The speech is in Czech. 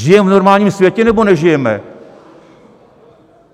Žijeme v normálním světě, nebo nežijeme?